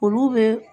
Olu bɛ